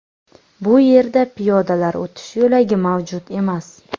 Bu yerda piyodalar o‘tish yo‘lagi mavjud emas.